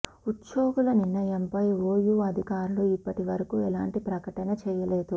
ఉద్యోగుల నిర్ణయంపై ఓయూ అధికారులు ఇప్పటి వరకు ఎలాంటి ప్రకటన చేయలేదు